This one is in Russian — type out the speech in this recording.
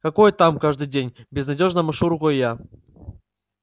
какое там каждый день безнадёжно машу рукой я